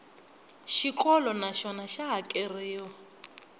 xikolo na xona xa hakeriwa